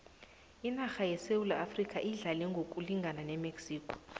inarha yesewula afrikha idlale ngokulingana nemexico